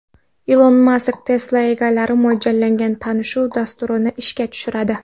Ilon Mask Tesla egalariga mo‘ljallangan tanishuv dasturini ishga tushiradi.